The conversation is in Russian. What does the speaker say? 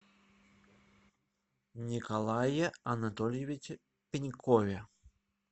николае анатольевиче пенькове